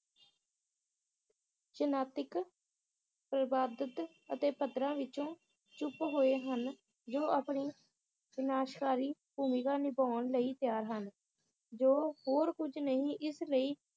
ਜਨਾਤਿਕ ਪਰਬਾਦਤ ਅਤੇ ਪੱਧਰਾਂ ਵਿਚੋਂ ਚੁੱਪ ਹੋਏ ਹਨ ਜੋ ਆਪਣੀ ਵਿਨਾਸ਼ਕਾਰੀ ਭੂਮਿਕਾ ਨਿਭਾਉਣ ਲਈ ਤਿਆਰ ਹਨ ਜੋ ਹੋਰ ਕੁਜ ਨਈ ਇਸ ਲਈ